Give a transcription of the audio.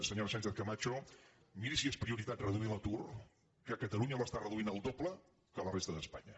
senyora sánchez·camac·ho miri si és prioritat reduir l’atur que catalunya l’es·tà reduint el doble que la resta d’espanya